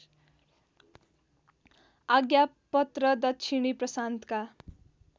आज्ञापत्र दक्षिणी प्रशान्तका